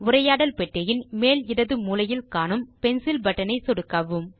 உரையாடல் பெட்டியின் மேல் இடது மூலையில் காணும் பென்சில் பட்டன் ஐ சொடுக்கவும்